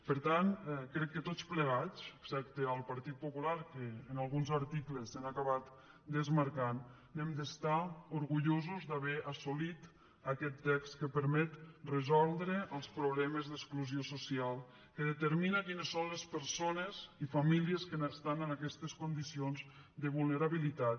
per tant crec que tots plegats excepte el partit popular que en alguns articles s’han acabat desmarcant hem d’estar orgullosos d’haver assolit aquest text que permet resoldre els problemes d’exclusió social que determina quines són les persones i famílies que estan en aquestes condicions de vulnerabilitat